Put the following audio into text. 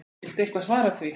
Viltu eitthvað svara því?